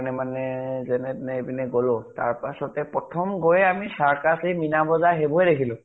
ণে মানে যেনে তেনে এপিনে গলো । তাৰ পিছতে আমি গৈয়ে circus, এ মীনা বজাৰ সেইবোৰেই দেখিলো ।